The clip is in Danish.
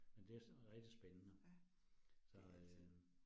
Men det rigtig spændende så øh